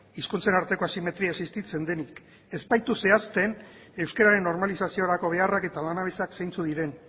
hizkuntzen arteko asimetria existitzen denik ez baitu zehazten euskararen normalizaziorako beharrak eta lanabesak zeintzuk diren